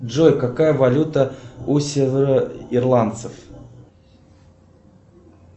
джой какая валюта у североирландцев